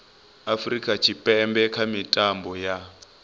afurika tshipembe kha mitambo ya